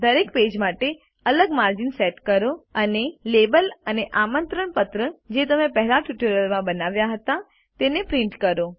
દરેક પેજ માટે અલગ માર્જિન સેટ કરો અને લેબલ અને આમંત્રણ પત્ર જે તમે પહેલાંના ટ્યુટોરીયલ માં બનાવ્યા હતા તેને પ્રિન્ટ કરો